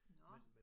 Nå